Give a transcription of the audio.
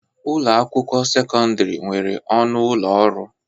Ụlọ akwụkwọ sekọndrị nwere ọnụ ụlọ ọrụ.